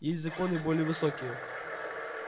есть законы более высокие